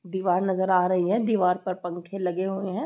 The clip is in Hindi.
दीवार नजर आ रही है दीवार पर पंखे लगे हुए हैं।